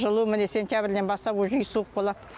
жылу міне сентябрьден бастап уже үй суық болады